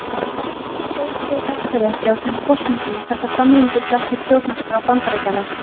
Málið var sótt fyrir Hæstarétti á þeim forsendum að þetta samrýmdist ekki stjórnarskrá Bandaríkjanna.